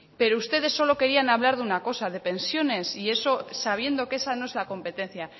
pero ustedes solo querían hablar de una cosa de pensiones sabiendo que esa no es la competencia